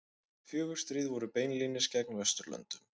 Fjögur stríð voru beinlínis gegn Vesturlöndum.